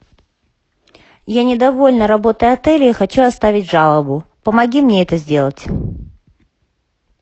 я недовольна работой отеля и хочу оставить жалобу помоги мне это сделать